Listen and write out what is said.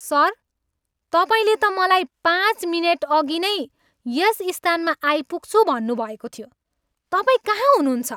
Sir, तपाईँले त मलाई पाँच मिनेटअघि नै यस स्थानमा आइपुग्छु भन्नुभएको थियो। तपाईँ कहाँ हुनुहुन्छ?